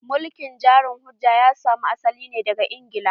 Mulkin jari-hujja ya samo asali ne daga Ingila.